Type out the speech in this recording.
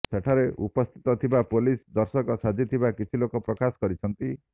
ସେଠାରେ ଉପସ୍ଥିତ ଥିବା ପୋଲିସ ଦର୍ଶକ ସାଜିଥିବା କିଛି ଲୋକ ପ୍ରକାଶ କରିଛନ୍ତି